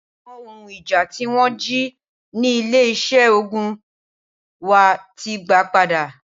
Awon ohun ija ti won ji ni ile ise ogun wa ti gba pada.